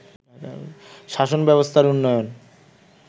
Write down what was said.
শাসন ব্যবস্থার উন্নয়ন